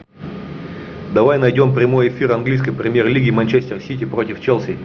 давай найдем прямой эфир английской премьер лиги манчестер сити против челси